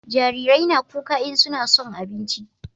jarirai na kuka in suna son abinci